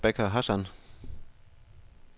Rebecca Hassan